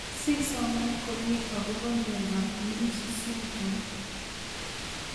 Si soman komie akopo miondop lynch syndrome